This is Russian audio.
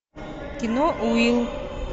кино уилл